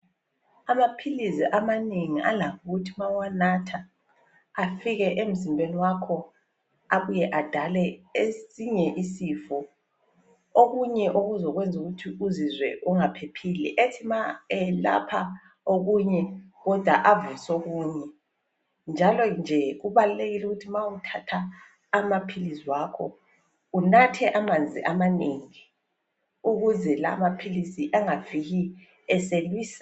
Amaphilizi amanengi alakuthi ma uwanatha afike emzimbeni wakho abuye adale esinye isifo, okunye okuzokwenza ukuthi uzizwe ungaphephile ethi ma elapha okunye kodwa avuse okunye njalo nje kubalulekile ukuthi ma uthatha amaphilizi wakho unathe amanzi amanengi ukuze lawa amaphilisi engafiki eselwisa.